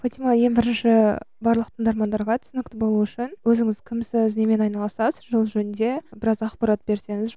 фатима ең бірінші барлық тыңдармандарға түсінікті болу үшін өзіңіз кімсіз немен айналысасыз сол жөнінде біраз ақпарат берсеңіз